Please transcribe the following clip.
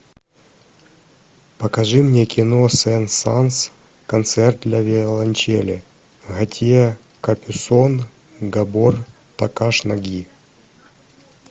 покажи мне кино сен санс концерт для виолончели готье капюсон габор такаш наги